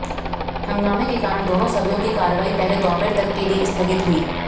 हंगामे के कारण दोनों सदनों की कार्यवाही पहले दोपहर तक के लिए स्थगित हुई